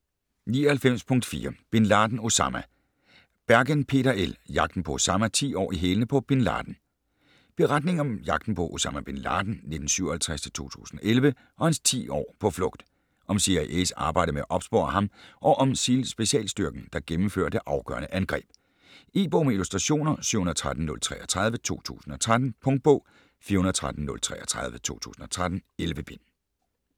99.4 Bin Laden, Osama Bergen, Peter L.: Jagten på Osama: ti år i hælene på Bin Laden Beretning om jagten på Osama Bin Laden (1957-2011) og hans 10 år på flugt. Om CIA's arbejde med at opspore ham og om SEAL-specialstyrken, der gennemfører det afgørende angreb. E-bog med illustrationer 713033 2013. Punktbog 413033 2013. 11 bind.